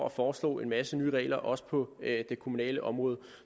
at foreslå en masse nye regler også på det kommunale område